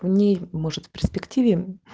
в ней может в перспективе